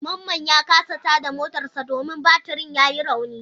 Mamman ya kasa tada motarsa ​​domin batirin yayi rauni.